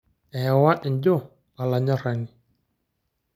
Ewa injo olaranyani.